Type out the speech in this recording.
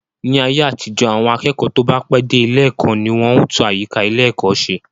Ní ayé àtijọ́, àwọn akẹ́kọ̀ọ́ tó bá pẹ́ dé ilé ẹ̀kọ́ ni wọn ó tún àyíká ilé ẹ̀kọ́ se